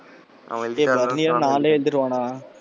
அவன் பரணி எல்லாம் நாலும் எழுதிருவான்டா.